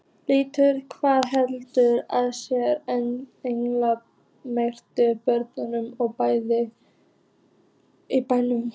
Lillý: Hvað heldurðu að séu eiginlega margar blöðrur í bænum?